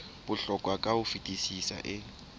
bohlokwa ka ho fetisisa e